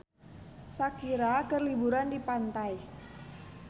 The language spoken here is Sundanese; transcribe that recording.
Shakira keur liburan di pantai